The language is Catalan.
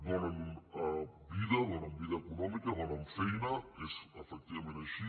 donen vida donen vida econòmica donen feina és efectivament així